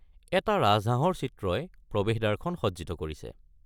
এটা ৰাজহাঁহৰ চিত্ৰই প্ৰৱেশ দ্বাৰখন সজ্জিত কৰিছে।